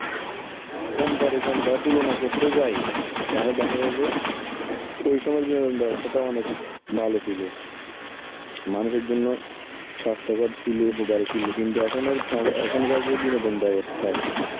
comparison বা তুলো না করতে যাই, তাহলে দেখা যায় যে ওই সময় বিনোদনের ব্যবস্থা তো অনেক ভালো ছিল. মানুষের জন্য স্বাস্থ্যকর ছিল, ছিল, কিন্তু এখনের ও~ এখনকার যে বিনোদন ব্যবস্থা